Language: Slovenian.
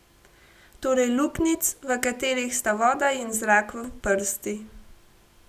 Torej luknjic, v katerih sta voda in zrak v prsti.